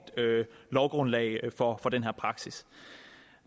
lovgrundlag for den her praksis